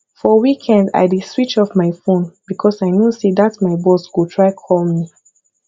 for weekend i dey switch off my phone because i know say dat my boss go try call me